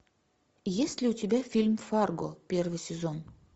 есть ли у тебя фильм фарго первый сезон